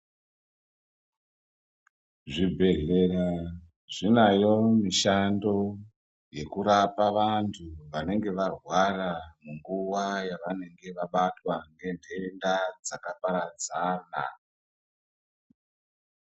Zvibhedleya zvinayo mishando yekurapa vantu vanenge varwara munguva yavanenge vabatwa nentenda dzakaparadzana .